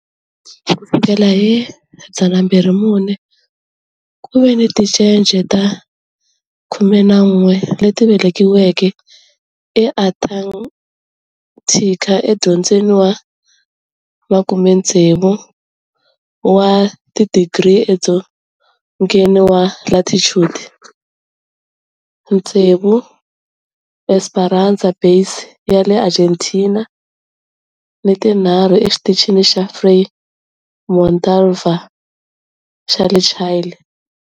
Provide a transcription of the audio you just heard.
Ku sukela hi 2009, ku ve ni tincece ta 11 leti velekiweke eAntarctica, edzongeni wa 60 wa tidigri edzongeni wa latitude, tsevu eEsperanza Base ya le Argentina ni tinharhu eXitichini xa Frei Montalva xa le Chile.